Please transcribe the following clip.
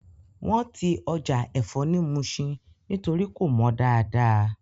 Wọ́n ti Ọjà ẹ̀fọ́ ni Muṣin nítorí kò mọ dáadáa